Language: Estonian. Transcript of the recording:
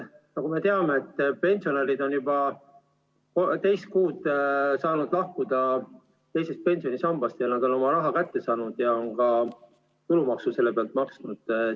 Nagu me teame, on pensionärid juba teist kuud saanud lahkuda teisest pensionisambast ja nad on oma raha kätte saanud ja on ka tulumaksu selle pealt maksnud.